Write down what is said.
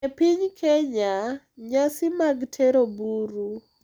E piny Kenya, nyasi mag Tero Buru